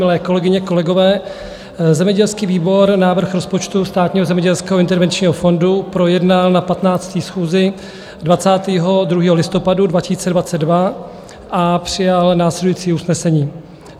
Milé kolegyně, kolegové, zemědělský výbor návrh rozpočtu Státního zemědělského intervenčního fondu projednal na 15. schůzi 22. listopadu 2022 a přijal následující usnesení: